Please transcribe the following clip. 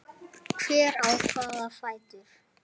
Hver á hvaða fætur?